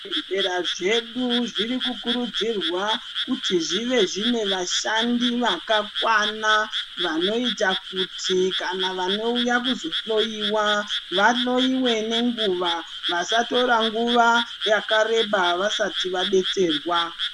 Zvibhedhlera zvedu zviri kukurudzirwa kuti zvive zvine vashandi vakakwana vanoita kuti kana vanouya kuzohloyiwa vahloyiwe nenguva, vasatora nguva yakareba vasati vadetserwa.